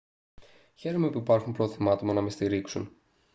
χαίρομαι που υπάρχουν πρόθυμα άτομα να με στηρίξουν